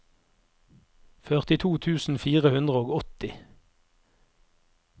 førtito tusen fire hundre og åtti